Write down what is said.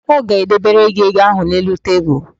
Ọ ga-edebere gị ego ahụ n'elu tebulu.